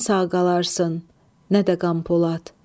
Nə sən sağ qalarsın, nə də Qam Polad.